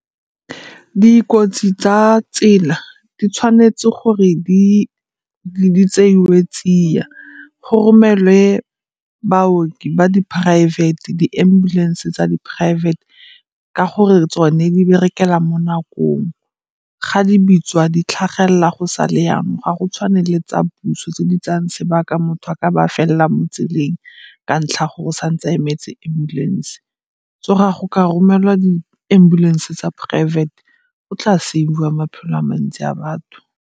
Dikotsi tsa tsela di tshwanetse gore di tseiwe tsia, go romelwe baoki ba di poraefete, di-ambulance tsa di-private ka gore tsone di berekela mo nakong. Ga di bitswa di tlhagelela go sale yanong, ga go tshwane le tsa puso tse di tsayang sebaka. Motho a ka ba felela mo tseleng ka ntlha ya gore o sa ntse a emetse ambulance. So ga go ka romelwa di-ambulance tsa poraefete go tla save-iwa maphelo a mantsi a batho.